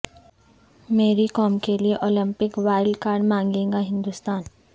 میری کوم کیلئے Olympic wild card مانگے گا ہندوستان